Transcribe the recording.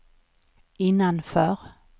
innanför